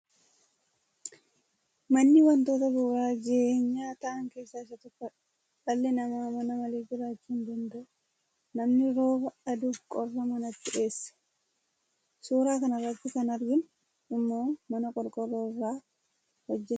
Manni wantoota bu'uura jireenyaa ta'an keessaa isa tokkodha. Dhalli namaa mana malee jiraachuu hin danda’u. Namni rooba, aduu fi qorra manatti dheessa. Suuraa kanarratti kan arginu immoo mana qorqorroo irraa hojjetamedha.